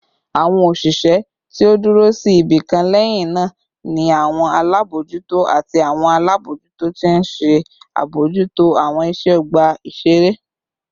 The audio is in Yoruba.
Awọn oṣiṣẹ ti o duro si ibikan lẹhinna ni awọn alabojuto ati awọn alabojuto ti nṣe abojuto awọn iṣẹ ọgba iṣere